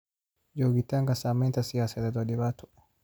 Joogitaanka saamaynta siyaasadeed waa dhibaato.